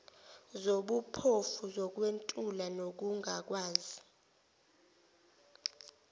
zobuphofu zokwentula nokungakwazi